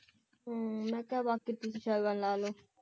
ਹਮ ਮੈਂ ਕਿਹਾ ਬਾਕੀ ਬਣਾ ਲੋ